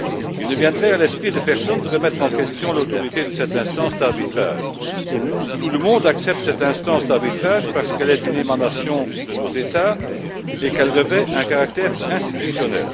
Il ne viendrait à l'esprit de personne de remettre en question l'autorité de cette instance d'arbitrage. Tout le monde accepte cette instance, parce qu'elle est une émanation de nos États et qu'elle revêt un caractère institutionnel.